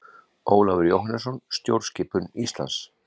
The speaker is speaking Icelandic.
Ólafur Jóhannesson: Stjórnskipun Íslands.